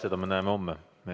Seda me näeme homme.